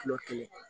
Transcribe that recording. Kilo kelen